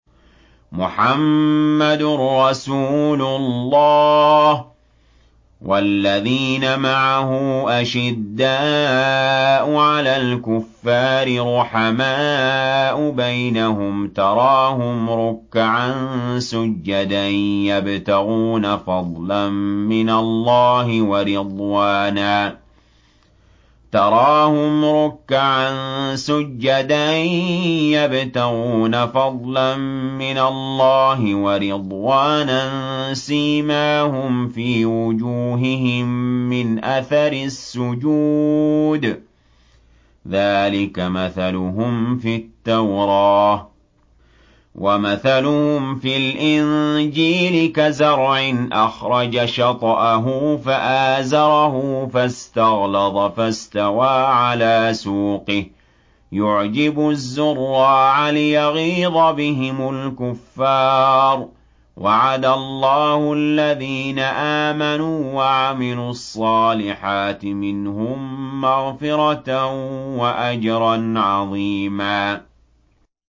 مُّحَمَّدٌ رَّسُولُ اللَّهِ ۚ وَالَّذِينَ مَعَهُ أَشِدَّاءُ عَلَى الْكُفَّارِ رُحَمَاءُ بَيْنَهُمْ ۖ تَرَاهُمْ رُكَّعًا سُجَّدًا يَبْتَغُونَ فَضْلًا مِّنَ اللَّهِ وَرِضْوَانًا ۖ سِيمَاهُمْ فِي وُجُوهِهِم مِّنْ أَثَرِ السُّجُودِ ۚ ذَٰلِكَ مَثَلُهُمْ فِي التَّوْرَاةِ ۚ وَمَثَلُهُمْ فِي الْإِنجِيلِ كَزَرْعٍ أَخْرَجَ شَطْأَهُ فَآزَرَهُ فَاسْتَغْلَظَ فَاسْتَوَىٰ عَلَىٰ سُوقِهِ يُعْجِبُ الزُّرَّاعَ لِيَغِيظَ بِهِمُ الْكُفَّارَ ۗ وَعَدَ اللَّهُ الَّذِينَ آمَنُوا وَعَمِلُوا الصَّالِحَاتِ مِنْهُم مَّغْفِرَةً وَأَجْرًا عَظِيمًا